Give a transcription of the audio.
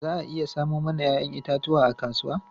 Za a iya samo mana 'ya'yan itatuwa a kasuwa?